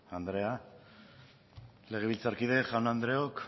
andrea legebiltzarkide jaun andreok